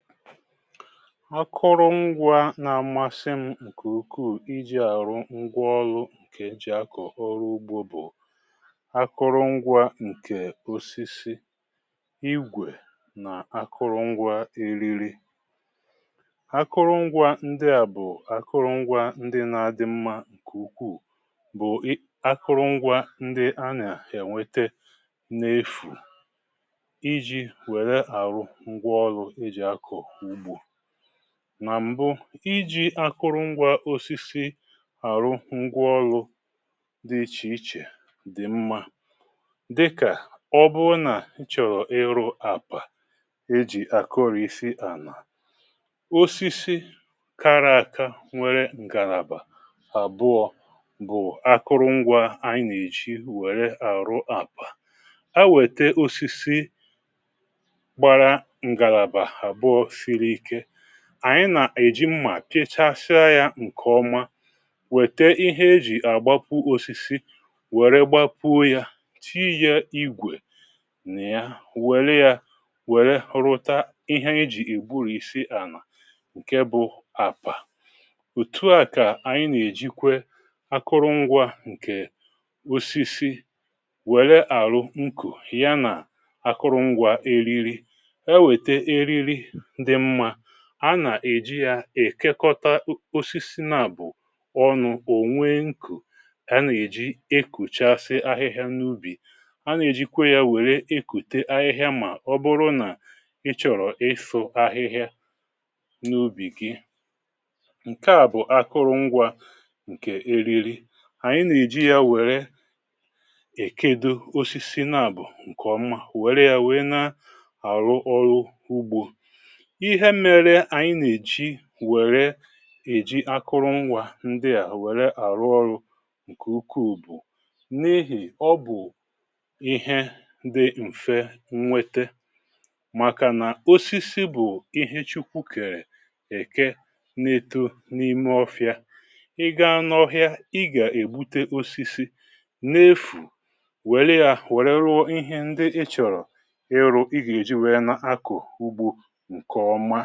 Akụrụ ngwa nà-amasị m ǹkè ukuu iji àrụ ngwaọlụ ǹkè eji akọ̀ ọrụ ugbȯ bụ̀ akụrụ ngwa ǹkè ósísí igwè nà akụrụ ngwa eriri. Akụrụ ngwa ǹdị̀ à bụ̀ akụrụ ngwa ǹdị na-adị mmȧ ǹkè ukuù bụ̀ akụrụ ngwa ǹdị a nà-àna enwete n’efù iji wèré arụ ngwáọrụ eji akọ ugbo. Nà m̀bụ ijí akụrụngwȧ osisi àrụ ngwaọlụ dị ichè ichè dị̀ mmȧ, dịkà ọ bụrụ nà nchọ̀rọ̀ ịrụ àkpà e jì àkụrụ̀ isi ànà, osisi kara àka nwere ǹgàlàbà àbụọ bụ̀ akụrụngwȧ anyị nà-èji wère àrụ àkpà. E wète osisi, gbárá ngalabà abụọ, siri ike, ànyị nà-èji mmà pịchasịa yȧ ǹkè ọma, wète ihe ejì àgbapu osisi wère gbapuó ya, tiíyá ígwè nị ya, wère ya wère rụta ihe ejì ègburisi ànà, ǹke bụ àkpà. Òtu a kà ànyị nà-èjikwe akụrụngwȧ ǹkè osisi wère àrụ nkù ya nà akụrụngwȧ eriri. E weta eriri dị mma, a na-èji ya èkekọta osisi nà-àbụ ọnụ, ò nwee nkù, ha nà-èji ekùchasị ahịhịa n’ubì. Ha nà-èjikwe ya wèré ekùte ahịhịa mà ọbụrụ nà ị chọ̀rọ̀ ịsụ ahịhịa n’ubì gị. Nke à bụ̀ akụrụ ngwȧ ǹkè eriri. Ànyị nà-èji ya nwère èkedo osisi nà-àbụ ǹkèọma wère ya wèe na-àrụ ọrụ ugbȯ. Ihe mere ànyị nà-èji wère èji akụrụ ngwȧ ndị à wère àrụ ọrụ ǹkè ukuù bụ̀ n’ihì ọ bụ̀ ihe dị̀ m̀fe nnwete màkà nà osisi bụ̀ ihe chukwu kèrè èke na-eto n’ime ọfịa.Ị gaa n’ọhịa ị gà-ègbute osisi n’efù wère ya wère rụọ ihe ndị ị chọ̀rọ̀ ịrụ ị gà-èji wèe n’akọ ugbo nke ọma.